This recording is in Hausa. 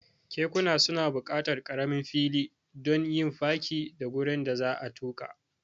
Kekuna suna buƙatar ƙaramin fili don yin fakin da gurin da za'a tuka.